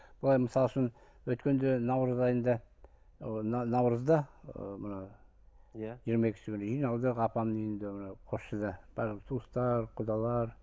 бұлар мысалы үшін өткенде наурыз айында наурызда ы мына иә жиырма екісі күні жиналдық апамның үйінде мынау қосшыдан барлық туыстар құдалар